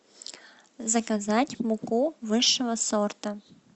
заказать муку высшего сорта